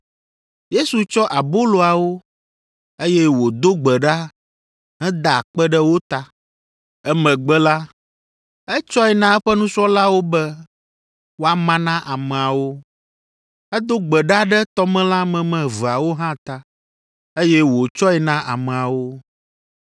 Yesu tsɔ aboloawo, eye wòdo gbe ɖa heda akpe ɖe wo ta. Emegbe la, etsɔe na eƒe nusrɔ̃lawo be woama na ameawo. Edo gbe ɖa ɖe tɔmelã meme eveawo hã ta, eye wòtsɔe na ameawo.